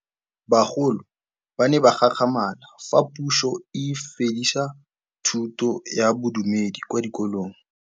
Bagolo ba ne ba gakgamala fa Pusô e fedisa thutô ya Bodumedi kwa dikolong.